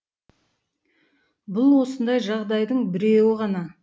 бұл осындай жағдайдың біреуі ғана